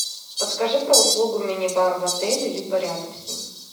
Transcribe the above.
подскажи про услугу мини бар в отеле либо рядом с ним